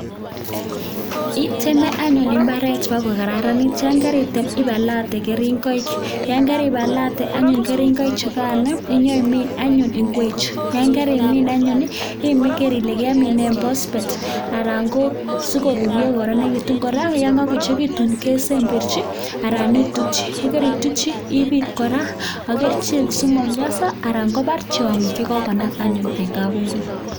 Iteme anyun imbaret ko kararanit yon karitem ibalate keringoik yan karibalate keringoik chukan nyoimin anyun ikwechu, yan karimin anyun iker ile kemine phosphate anan ko si korurio ko kororenitu, kora yan kokoechekitu kesembeshi anan itutchi yan karitukji ibik kora ak kerichek asi mamienso anan kobar tiongik che kokonam anyun eng kabingut.